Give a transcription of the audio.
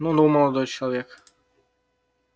ну-ну молодой человек